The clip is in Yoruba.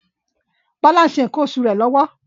Bola ń se nkan osu re lọwọ